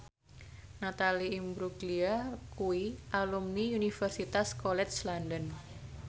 Natalie Imbruglia kuwi alumni Universitas College London